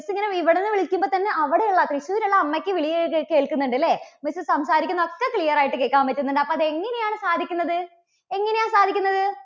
miss ഇങ്ങനെ ഇവിടെനിന്ന് വിളിക്കുമ്പോൾ തന്നെ അവിടെയുള്ള, തൃശൂർ ഉള്ള അമ്മയ്ക്ക് വിളി കേ~കേൾക്കുന്നുണ്ട് അല്ലേ? miss സംസാരിക്കുന്നതൊക്കെ clear ആയിട്ട് കേൾക്കാൻ പറ്റുന്നുണ്ട്. അപ്പോൾ അത് എങ്ങനെയാണ് സാധിക്കുന്നത്? എങ്ങനെയാ സാധിക്കുന്നത്?